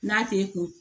N'a t'e kun